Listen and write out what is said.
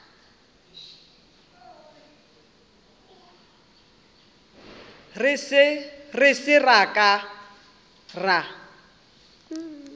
re se ra ka ra